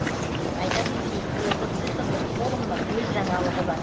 айта кетейік биылғы цифрлік форумның өз жаңалығы бар